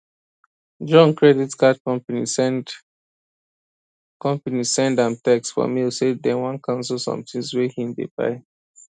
john credit card company send company send am text for mail say dem wan cancel some things wey him dey buy